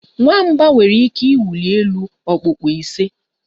Nwamba nwere ike ịwụli elu okpukpu ise